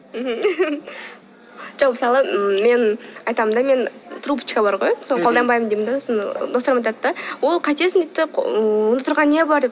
жоқ мысалы мен айтамын да мен трубочка бар ғой соны қолданбаймын деймін де сосын достарым айтады да ол қайтесің дейді де онда тұрған не бар